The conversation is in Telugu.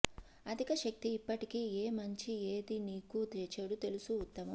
అధిక శక్తి ఇప్పటికీ ఏ మంచి ఏది నీకు చెడు తెలుసు ఉత్తమం